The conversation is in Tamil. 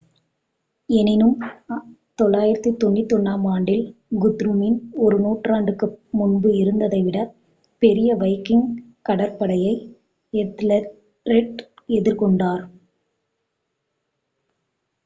எனினும் 991-ஆம் ஆண்டில் குத்ருமின் ஒரு நூற்றாண்டுக்கு முன்பு இருந்ததைவிட பெரிய வைக்கிங் கடற்படையை எத்தெல்ரெட் எதிர்கொண்டார்